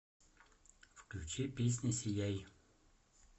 включи песня сияй